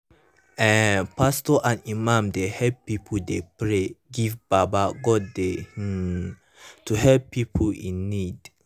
eeh pastos and imams dey helep pipu dey pray give baba godey hmn to helep pipu in need